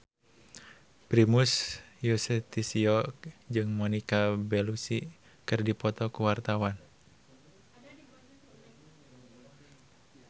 Primus Yustisio jeung Monica Belluci keur dipoto ku wartawan